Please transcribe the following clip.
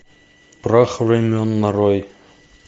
прах времен нарой